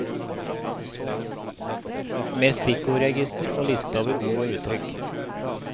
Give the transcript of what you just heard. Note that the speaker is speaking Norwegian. Med stikkordregister og liste over ord og uttrykk.